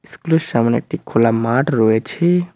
স্কুলের সামনে একটি খোলা মাঠ রয়েছে।